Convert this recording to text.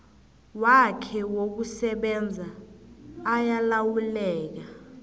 wakhe wokusebenza ayalawuleka